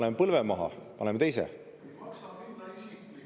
Paneme põlve maha, paneme teise?